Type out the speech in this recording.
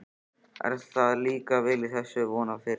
Er þér að líka vel í þessu svona fyrst?